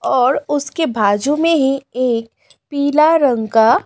और उसके बाजू में ही एक पीला रंग का--